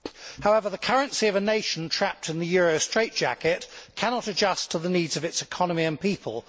However, the currency of a nation trapped in the euro straitjacket cannot adjust to the needs of its economy and people.